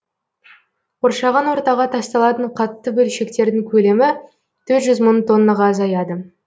қоршаған ортаға тасталатын қатты бөлшектердің көлемі төрт жүз мың тоннаға азаяды